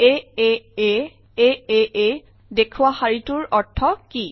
আঁ aaa দেখুওৱা শাৰীটোৰ অৰ্থ কি